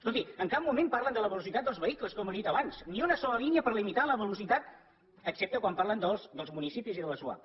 escolti en cap moment parlen de la velocitat dels vehicles com he dit abans ni una sola línia per limitar la velocitat excepte quan parlen dels municipis i de les zuap